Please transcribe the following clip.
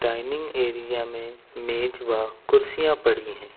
Dining area में मेज व कुर्सियां पड़ी हैं।